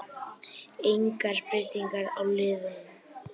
Engar breytingar á liðunum